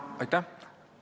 Aitäh!